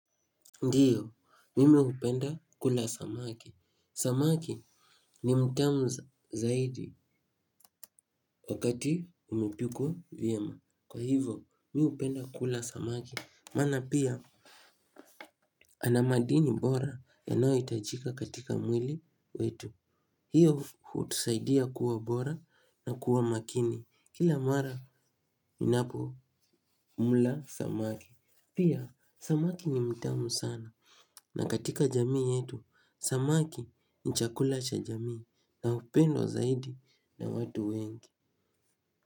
Ndio, mimi hupenda kula samaki. Samaki ni mtamu zaidi wakati umepikwa vyema. Kwa hivyo, mimi hupenda kula samaki. Maana pia, ana madini bora yanayo hitajika katika mwili wetu. Hiyo hutusaidia kuwa bora na kuwa makini. Kila mara ninapo mla samaki. Pia, samaki ni mtamu sana. Na katika jamii yetu, samaki ni chakula cha jamii na hupendwa zaidi na watu wengi.